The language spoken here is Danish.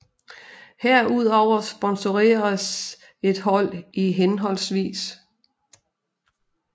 Herudover sponsoreres et hold i hhv